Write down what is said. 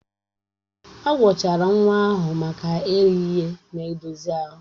Agwọchara nwa ahụ maka erighị ihe na-edozi ahụ